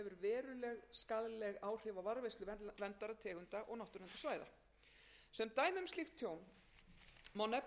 áhrif á varðveislu verndaðra tegunda og náttúruverndarsvæða sem dæmi um slíkt tjón má